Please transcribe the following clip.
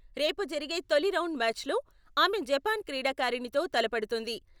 రేపు జరిగే తొలి రౌండ్ మ్యాచ్లో ఆమె జపాన్ క్రీడాకారిణితో తలపడుతుంది.